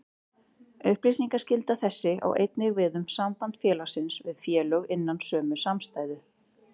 Upplýsingaskylda þessi á einnig við um samband félagsins við félög innan sömu samstæðu.